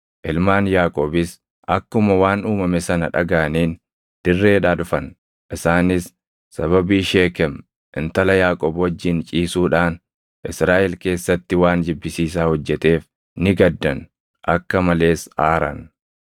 Ilmaan Yaaqoobis akkuma waan uumame sana dhagaʼaniin dirreedhaa dhufan. Isaanis sababii Sheekem intala Yaaqoob wajjin ciisuudhaan Israaʼel keessatti waan jibbisiisaa hojjeteef ni gaddan; akka malees aaran.